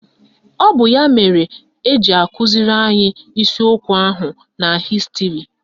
Ọ bụ ya mere eji akụziri anyị isiokwu ahu na Hịstịrị.